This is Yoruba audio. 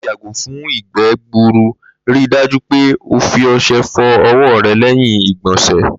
Láti yàgò fún ìgbé̩ gburu, ri dájú pé o fi o̩s̩e̩ fo̩ o̩wó̩ re̩ lé̩yìn ìgbò̩sè̩